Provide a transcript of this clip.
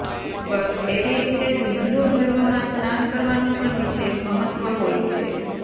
બસ એવી રીતે જ હિંદુ ધર્મમાં સ્નાન કરવાનું પણ વિશેષ મહત્વ હોય છે